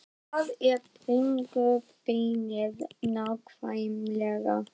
Hvar er bringubeinið nákvæmlega?